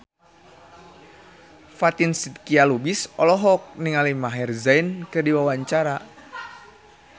Fatin Shidqia Lubis olohok ningali Maher Zein keur diwawancara